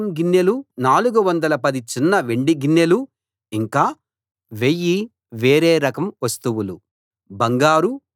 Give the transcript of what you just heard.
30 బంగారం గిన్నెలు 410 చిన్న వెండి గిన్నెలు ఇంకా 1000 వేరే రకం వస్తువులు